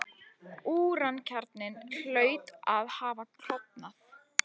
Úrankjarninn hlaut að hafa klofnað.